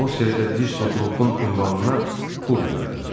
Qlosterda disko trupun ünvanına pul göndərin.